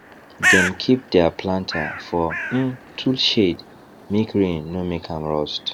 dem keep deir planter for um tool shed make rain no make am rust